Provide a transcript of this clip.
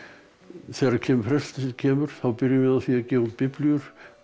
þegar presturinn kemur þá byrjum við á því að gefa út biblíur